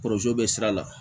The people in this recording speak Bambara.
bɛ sira la